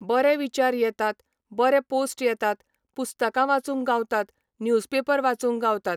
बरे विचार येतात, बरे पोस्ट येतात, पुस्तकां वाचूंक गावतात, न्यूज पेपर वाचूंक गावतात.